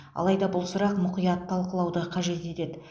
алайда бұл сұрақ мұқият талқылауды қажет етеді